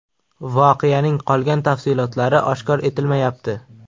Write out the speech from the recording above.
Voqeaning qolgan tafsilotlari oshkor etilmayapti.